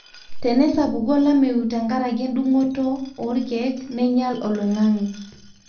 tenesapuku olameyu te nkaraki e ndukuto olkeek neinyal oloingange